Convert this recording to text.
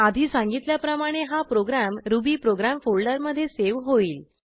आधी सांगितल्याप्रमाणे हा प्रोग्रॅम रुबीप्रोग्राम फोल्डरमधे सेव्ह होईल